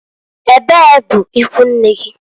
Ebee bụ ikwunne gi?